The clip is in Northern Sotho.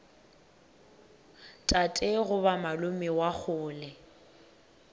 tate goba malome wa kgole